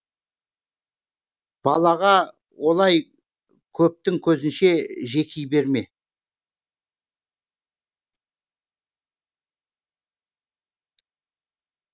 балаға олай көптің көзінше жеки берме